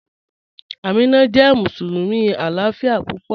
Ámínà jẹ́ musulumi aláàfíà púpọ̀